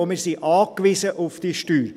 Wir sind auf diese Steuer angewiesen.